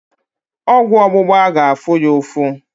Ọgwụ ógbụ̀gbá ga-afụ ya ụfụ